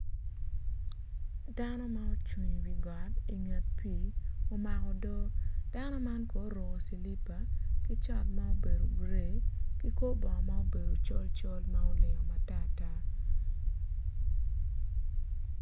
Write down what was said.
Dano ma cung iwi got inget pii omako odo dano man kono oruko cilipa ki cot maobedo gray ki kor bongo ma obedo col col ma oling matar tar